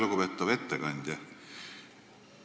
Lugupeetav ettekandja!